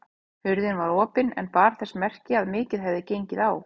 Hurðin var opin en bar þess merki að mikið hefði gengið á.